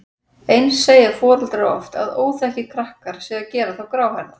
Eins segja foreldrar oft að óþekkir krakkar séu að gera þá gráhærða.